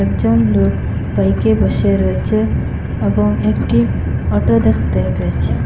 একজন লোক বাইকে বসে রয়েছে এবং একটি অটো দেখতে পেয়েছি।